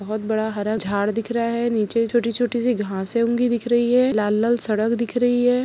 बहुत बड़ा हरा झाड़ दिख रहा है नीचे छोटी-छोटी सी घासे उगी दिख रही है लाल-लाल सड़क दिख रही है।